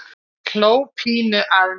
Hló pínu að mér.